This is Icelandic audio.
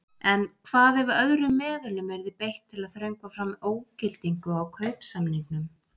En hvað ef öðrum meðulum yrði beitt til að þröngva fram ógildingu á kaupsamningnum?